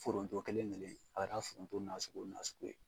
Foronto kɛlen kelen in k'a